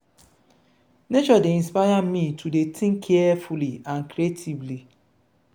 nature dey inspire me to dey think clearly and creatively.